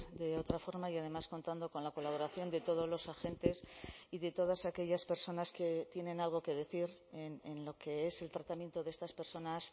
de otra forma y además contando con la colaboración de todos los agentes y de todas aquellas personas que tienen algo que decir en lo que es el tratamiento de estas personas